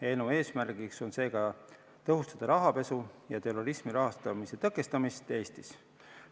Eelnõu eesmärk on seega tõhustada rahapesu ja terrorismi rahastamise tõkestamist Eestist.